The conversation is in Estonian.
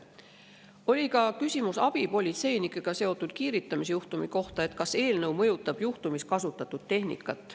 Oli ka küsimus abipolitseinikega seotud kiiritusjuhtumi kohta, et kas eelnõu mõjutab selle juhtumi puhul kasutatud tehnikat.